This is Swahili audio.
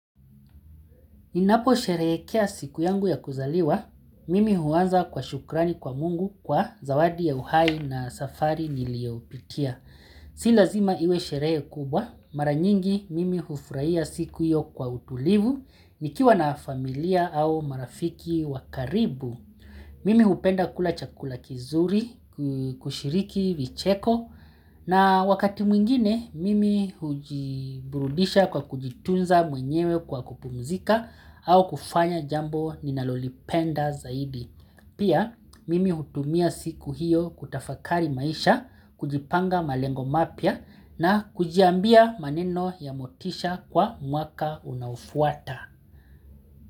Ninaposherekea siku yangu ya kuzaliwa, mimi huanza kwa shukrani kwa mungu kwa zawadi ya uhai na safari niliyopitia. Si lazima iwe sherehe kubwa. Mara nyingi mimi hufurahia siku hiyo kwa utulivu, nikiwa na familia au marafiki wa karibu. Mimi hupenda kula chakula kizuri, kushiriki vicheko na wakati mwingine mimi hujiburudisha kwa kujitunza mwenyewe kwa kupumzika au kufanya jambo ninalolipenda zaidi. Pia, mimi hutumia siku hiyo kutafakari maisha, kujipanga malengo mapya, na kujiambia maneno ya motisha kwa mwaka unaofuata.